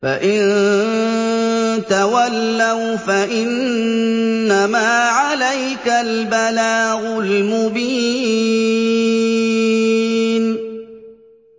فَإِن تَوَلَّوْا فَإِنَّمَا عَلَيْكَ الْبَلَاغُ الْمُبِينُ